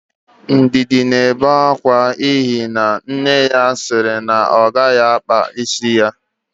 Ndidi na-ebe akwa n'ihi na nne ya sị na ọ gaghị akpa isi.